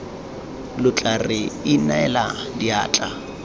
lo tla re inela diatla